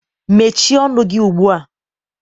Mechie ọnụ gị ugbua!